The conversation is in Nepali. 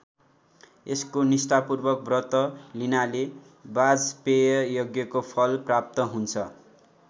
यसको निष्ठापूर्वक व्रत लिनाले वाजपेय यज्ञको फल प्राप्त हुन्छ।